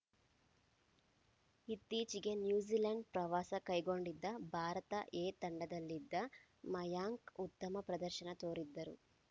ಇತ್ತೀಚೆಗೆ ನ್ಯೂಜಿಲೆಂಡ್‌ ಪ್ರವಾಸ ಕೈಗೊಂಡಿದ್ದ ಭಾರತ ಎ ತಂಡದಲ್ಲಿದ್ದ ಮಯಾಂಕ್‌ ಉತ್ತಮ ಪ್ರದರ್ಶನ ತೋರಿದ್ದರು